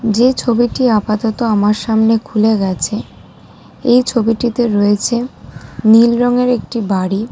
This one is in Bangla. যে ছবিটি আপাতত আমার সামনে খুলে গেছে এই ছবিটিতে রয়েছে নীল রংয়ে একটি বাড়ি ।